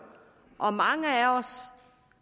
og mange af os